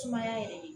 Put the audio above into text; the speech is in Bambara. Sumaya yɛrɛ de